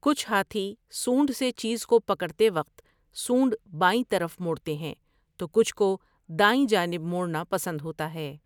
کچھ ہاتھی سونڈ سے چیز کو پکڑتے وقت سونڈ بائیں طرف موڑتے ہیں تو کچھ کو دائیں جانب موڑنا پسند ہوتا ہے ۔